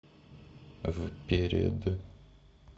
вперед